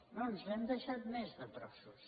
no ens n’hem deixat més de trossos